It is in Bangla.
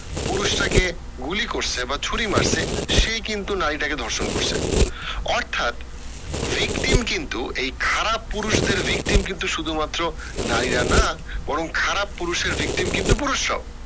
পুরুষটাকে গুলি করছে বা ছুরি মারসে সেই কিন্তু নারীটাকে ধর্ষণ করসে অর্থাৎ victim কিন্তু এই খারাপ পুরুষদের victim কিন্তু শুধু মাত্র নারী রা না বরং খারাপ পুরুষদের victim কিন্তু পুরুষরা ও